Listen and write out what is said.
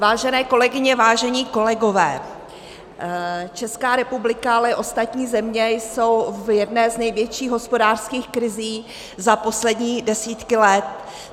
Vážené kolegyně, vážení kolegové, Česká republika, ale i ostatní země jsou v jedné z největších hospodářských krizí za poslední desítky let.